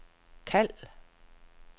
kald